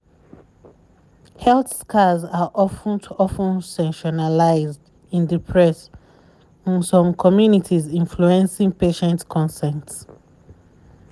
health scars are of ten t of ten sensationalized in the press um in some communities influencing um patient consent.